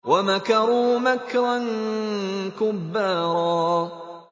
وَمَكَرُوا مَكْرًا كُبَّارًا